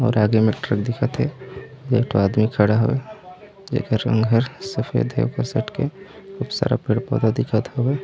मोर आगे मे एक ठो दिखत हे एक ठ आदमी खड़ा हवय जेकर रंग हर सफेद हवय सब के बहुत सारा पेड़ पौधा दिखत हवे।